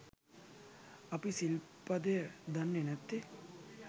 අපි සිල්පදය දන්නේ නැත්තේ